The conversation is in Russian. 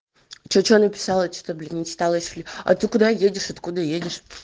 что что написала что-то блин не стала если а ты куда едешь откуда едешь